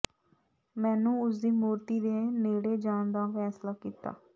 ਮੈਨੂੰ ਉਸ ਦੀ ਮੂਰਤੀ ਦੇ ਨੇੜੇ ਜਾਣ ਦਾ ਫ਼ੈਸਲਾ ਕੀਤਾ